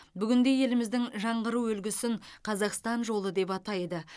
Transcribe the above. бүгінде еліміздің жаңғыру үлгісін қазақстан жолы деп атайды